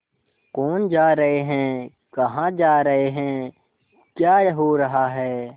कौन जा रहे हैं कहाँ जा रहे हैं क्या हो रहा है